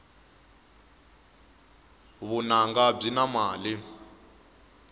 vununga byi na mali